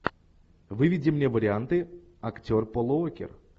выведи мне варианты актер пол уокер